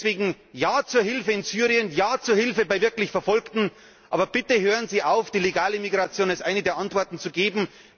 Deswegen Ja zur Hilfe in Syrien, ja zur Hilfe bei wirklich Verfolgten, aber bitte hören Sie auf, die legale Migration als eine der Antworten zu geben.